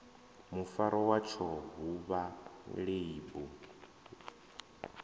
mufaro watsho vhuvha ḽeibu ḽu